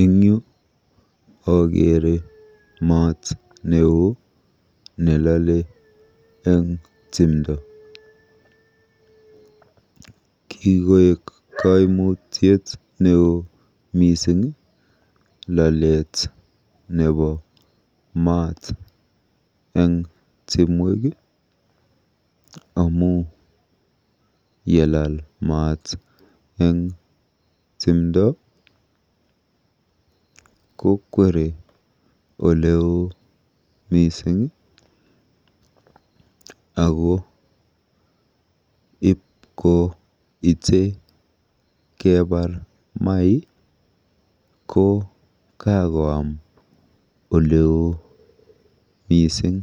Eng yu akeere maat neo nelole eng timdo. Kikoek kaimutiet neoo lalet nebo maat eng timwek amu yelal maat eng timdo kokwere oleo mising ako ipkoite kepar mai ko kakoam oleoo mising.